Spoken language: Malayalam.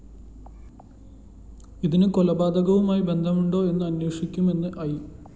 ഇതിന് കൊലപാതകവുമായി ബന്ധമുണ്ടോ എന്ന് അന്വേഷിക്കുമെന്നും ഐ